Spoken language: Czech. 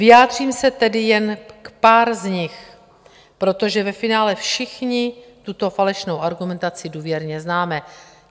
Vyjádřím se tedy jen k pár z nich, protože ve finále všichni tuto falešnou argumentaci důvěrně známe.